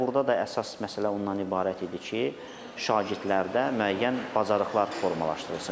Və burda da əsas məsələ ondan ibarət idi ki, şagirdlərdə müəyyən bacarıqlar formalaşdırılsın.